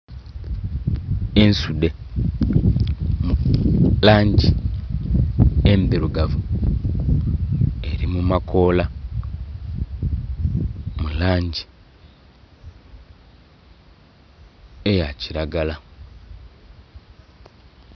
Ensudhe mu langi endhirugavu eri mu makoola mu langi eya kiragala.